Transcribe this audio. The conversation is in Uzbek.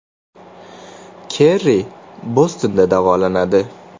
Kerri Bostonda davolanadi.